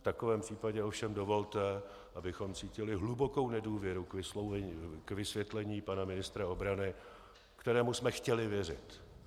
V takovém případě ovšem dovolte, abychom cítili hlubokou nedůvěru k vysvětlení pana ministra obrany, kterému jsme chtěli věřit.